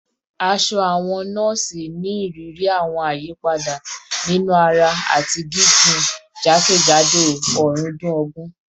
Aṣọ awọn nọọsi ni iriri awọn ayipada ninu ara ati gigun jakejado ọrundun ogun